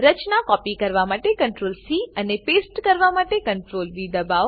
રચના copy કરવા માટે CTRLC અને પેસ્ટ કરવા માટે CTRLV દબાવો